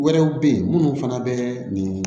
Wɛrɛw bɛ ye minnu fana bɛ nin